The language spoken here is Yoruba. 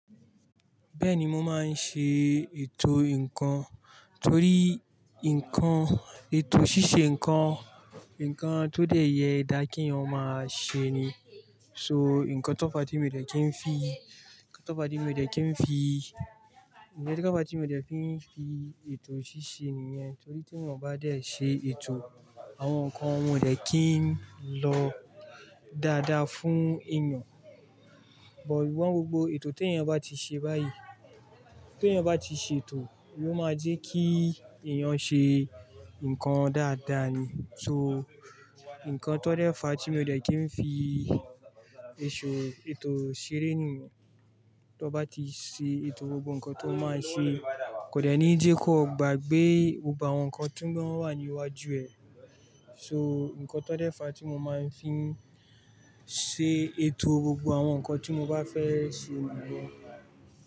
Bẹ́ẹ̀ni mo máa ń ṣe ètò nǹkan torí nǹkan, ètò ṣíṣe nǹkan, nǹkan tó dẹ̀ yẹ dá kẹ́eyan máa ṣe ni. So nǹkan tó fà tí mi ò dẹ̀ kí n fi, nǹkan tó fà tí mi ò dẹ̀ kí n fi, nǹkan tó fà tí mi ò dẹ̀ kí n fi ètò ṣíṣe nìyẹn. Torí tí wọ́n bá dẹ̀ ṣe ètò àwọn nǹkan wọn ò dẹ̀ kí ń lọ dáadáa fún èèyàn. But wọ́n gbogbo ètò tèèyàn bá ti ṣe báyìí, tèèyàn bá ti ṣe ètò, yóò máa jẹ́ kí èèyàn ṣe nǹkan dáadáa ni. So nǹkan tó dẹ̀ fà tí mi o dẹ̀ kí ń fi ìṣó, ètò ṣeré nìyẹn. Tan wọ́n bá ti ṣe ètò gbogbo nǹkan tan máa ṣe, kò dẹ̀ ní di nnkan gbàgbé gbogbo àwọn nǹkan tí ń wọ́n wà ní iwájú ẹ. So nǹkan tó dẹ̀ fà tí mo máa ń fi ṣe ètò gbogbo àwọn nǹkan tí mo bá fẹ́ ṣe nìyẹn.